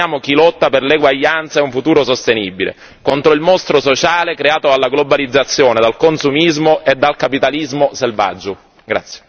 Prendiamo esempio da loro e sosteniamo chi lotta per l'eguaglianza e un futuro sostenibile, contro il mostro sociale creato dalla globalizzazione, dal consumismo e dal capitalismo selvaggio.